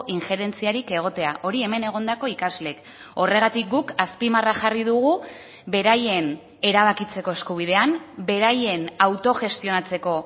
injerentziarik egotea hori hemen egondako ikasleek horregatik guk azpimarra jarri dugu beraien erabakitzeko eskubidean beraien autogestionatzeko